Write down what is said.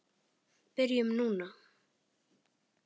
Byrjum núna.